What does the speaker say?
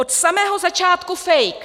Od samého začátku fake.